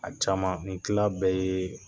A caman nin tila bɛɛ ye